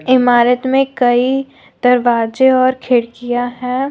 इमारत में कई दरवाजे और खिड़कियां हैं।